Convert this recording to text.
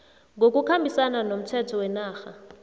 ngokukhambisana nomthetho wenarha